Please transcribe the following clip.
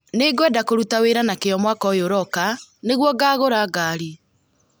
Nĩngwenda kũruta wĩra na kĩyo mwaka ũyũ ũroka nĩguo ngagũra ngaari